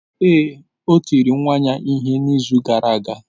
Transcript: Ee, o tiri nwa ya ihe n’izu gara aga.